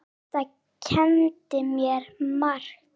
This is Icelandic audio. Þetta kenndi mér margt.